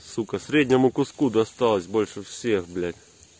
сукка среднему куску досталось больше всех блять